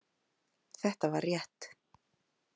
Þetta var rétt.